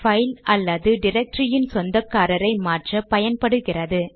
file அல்லது டிரக்டரியின் சொந்தக்காரரை மாற்ற பயன்படுகிறது